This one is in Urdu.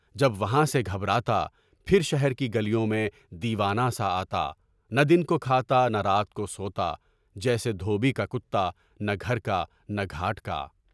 جب وہاں سے گھبراتا، پھر شہر کی گلیوں میں دیوانہ سا آتا، نہ دن کو کھاتا نہ رات کو سوتا، جیسے دھوبی کا کتانہ گھر نہ گھاٹ کا۔